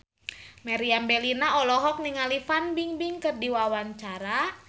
Meriam Bellina olohok ningali Fan Bingbing keur diwawancara